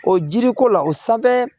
O jiriko la o sanfɛ